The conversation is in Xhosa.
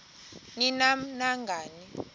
ni nam nangani